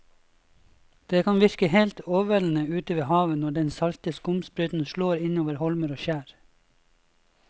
Det kan virke helt overveldende ute ved havet når den salte skumsprøyten slår innover holmer og skjær.